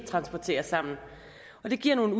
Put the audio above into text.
er nogen